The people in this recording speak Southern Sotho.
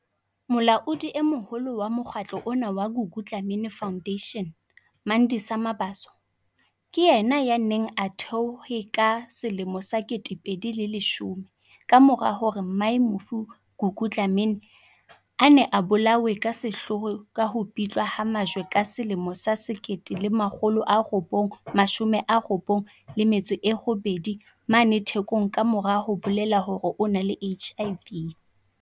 Molaodi e moholo wa mokgatlo ona wa Gugu Dla-mini Foundation, Mandisa Mabaso, ke yena yaneng a o thehe ka 2010 ka mora hore mmae mofu Gugu Dlamini, a ne a bolawe ka sehloho ka ho pitlwa ka majwe ka 1998 mane Thekong ka mora ho bolela hore o na le HIV.